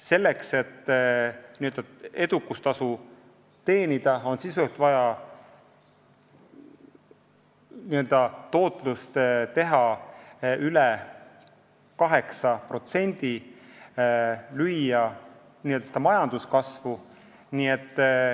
Selleks, et edukustasu teenida, on sisuliselt vaja tootlust üle 8%, on vaja n-ö lüüa majanduskasvu.